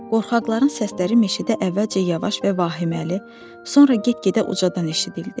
Qorxaqların səsləri meşədə əvvəlcə yavaş və vahiməli, sonra get-gedə ucadan eşidildi.